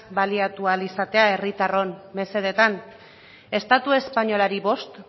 baliatu ahal izatea herritarron mesedetan estatu espainolari bost